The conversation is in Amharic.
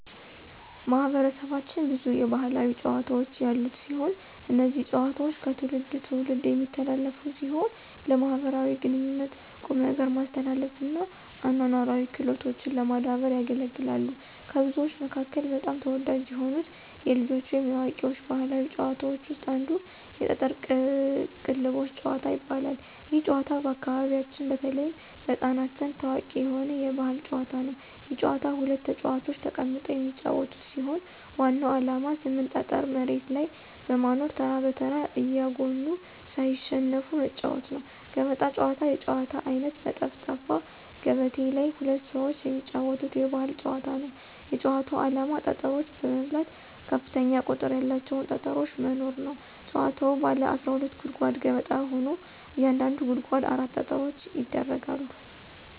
ማህበረሰባችን ብዙ የባህላዊ ጨዋታዎች ያሉት ሲሆን። እነዚህ ጨዋታዎች ከትውልድ ትውልድ የሚተላለፉ ሲሆን ለማኅበራዊ ግንኙነት፣ ቁም ነገር ማስተማር እና አኗኗራዊ ክህሎቶችን ለማዳበር ያገለግላሉ። ከብዙዎቹ መካከል በጣም ተወዳጅ የሆኑት የልጆች ወይም የአዋቂዎች ባህላዊ ጨዋታዎች ውስጥ አንዱ የጠጠር ቅልቦሽ ጭዋታ ይባላል። ይህ ጨዋታ በአካባቢያችን በተለይም በሕፃናት ዘንድ ታዋቂ የሆነ የባህል ጨዋታ ነው። ይህ ጨዋታ ሁለት ተጫዋቾች ተቀምጠው የሚጫወቱት ሲሆን ዋናው ዓላማ 8 ጠጠር መሬት ላይ በማኖር ተራ በተራ እያጎኑ ሳይሸነፉ መጫዎት ነው። ገበጣ ጨዋታ የጨዋታ አይነት በጠፍጣፋ ገበቴ ላይ ሁለት ሰዎች የሚጫወቱት የባህል ጨዋታ ነው። የጭዋታው አላማ ጠጠሮች በመብላት ከፍተኛ ቁጥር ያላቸውን ጠጠሮች መኖር ነው። ጭዋታዉ ባለ 12 ጉድጓድ ገበጣ ሆኖ እያንዳንዱ ጉድጓድ 4 ጠጠሮች ይደረጋሉ።